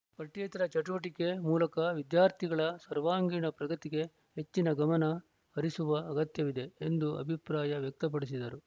ಪಠ್ಯೇತರ ಚಟುವಟಿಕೆ ಮೂಲಕ ವಿದ್ಯಾರ್ಥಿಗಳ ಸರ್ವಾಂಗೀಣ ಪ್ರಗತಿಗೆ ಹೆಚ್ಚಿನ ಗಮನ ಹರಿಸುವ ಅಗತ್ಯವಿದೆ ಎಂದು ಅಭಿಪ್ರಾಯ ವ್ಯಕ್ತಪಡಿಸಿದರು